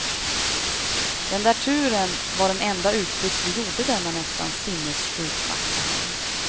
Den där turen var den enda utflykt vi gjorde denna nästan sinnesjukt vackra helg.